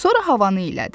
Sonra havanı iylədi.